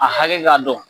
A hakɛ k'a dɔn